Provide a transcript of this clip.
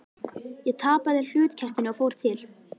Ég tapaði hlutkestinu og fór til